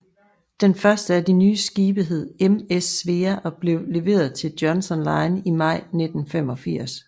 Den første af de nye skibe hed MS Svea og blev leveret til Johnson Line i maj 1985